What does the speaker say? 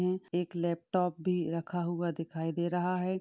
ए एक लैपटाप भी रखा हुआ दिखाई दे रहा है।